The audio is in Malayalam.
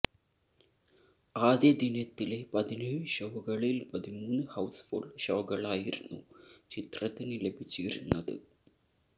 ആദ്യ ദിനത്തിലെ പതിനേഴ് ഷോകളില് പതിമൂന്ന് ഹൌസ് ഫുള് ഷോകളായിരുന്നു ചിത്രത്തിന് ലഭിച്ചിരുന്നത്